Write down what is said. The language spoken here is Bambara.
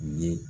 U ye